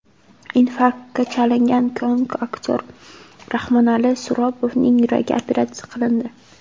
Infarktga chalingan komik aktyor Rahmonali Suropovning yuragi operatsiya qilindi.